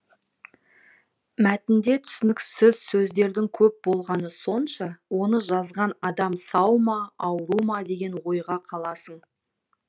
мәтінде түсініксіз сөздердің көп болғаны сонша оны жазған адам сау ма ауру ма деген ойға қаласың